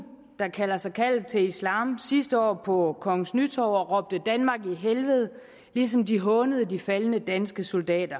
der kalder sig kaldet til islam sidste år på kongens nytorv og råbte danmark i helvede ligesom de hånede de faldne danske soldater